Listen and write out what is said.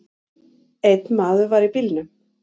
Einn maður var í bílnum.